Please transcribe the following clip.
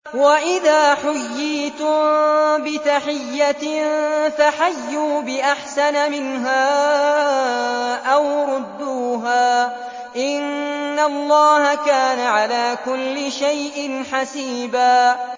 وَإِذَا حُيِّيتُم بِتَحِيَّةٍ فَحَيُّوا بِأَحْسَنَ مِنْهَا أَوْ رُدُّوهَا ۗ إِنَّ اللَّهَ كَانَ عَلَىٰ كُلِّ شَيْءٍ حَسِيبًا